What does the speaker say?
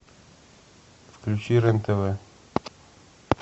включи рен тв